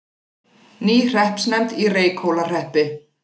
Ný hreppsnefnd í Reykhólahreppi